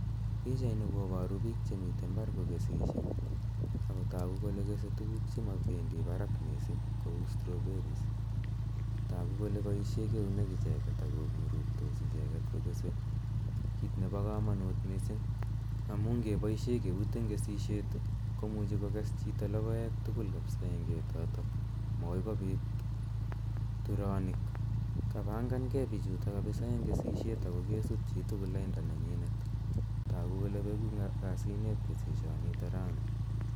Pichaini koparu piik che mitei mbar kokesishe ako tagu kole kese tuguk che mapendi parak missing' kou strawberries. Tagu kole paishe eunek icheget ako ng'uruktos icheget kokese, kiit nepa kamanut missing' amu ngepaishe keut eng' keaishet ko muchi kokes chito logoek tugul kapisa eng' ketotok, makoi kopit turanik. Kapangangei kapisa pichuto eng' kesishet ako kesup chi tugul lainda nenyinet. Tagu kole peku kasinep kesishanitok rani.